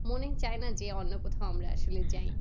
মনেই চাই না যে আমরা কোথাও আসলে যাই।